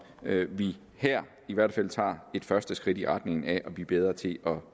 vi her i hvert fald tager et første skridt i retning af at blive bedre til